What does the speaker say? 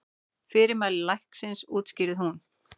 Fyrirmæli læknisins útskýrði hún.